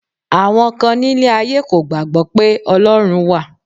Àwọn kan nílé ayé kò gbàgbọ́ pé Ọlọ́run wà